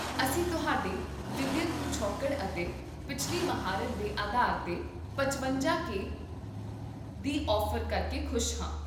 ਅਸੀਂ ਤੁਹਾਡੇ ਵਿਦਿਅਕ ਪਿਛੋਕੜ ਅਤੇ ਪਿਛਲੀ ਮਹਾਰਤ ਦੇ ਆਧਾਰ 'ਤੇ ਪਚਵੰਜਾ ਕੇ ਦੀ ਔਫ਼ਰ ਕਰਕੇ ਖੁਸ਼ ਹਾਂ